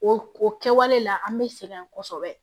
O o kɛwale la an bɛ sɛgɛn kosɛbɛ